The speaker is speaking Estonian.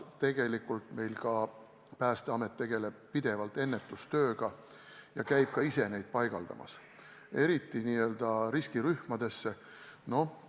Aga sellepärast Päästeamet tegelebki pidevalt ennetustööga ja käib ka ise neid paigaldamas, eriti n-ö riskirühmade puhul.